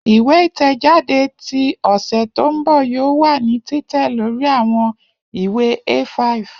Iwe itẹjade ti ọsẹ to nbọ yoo wa ni titẹ lori awọn iwe A5.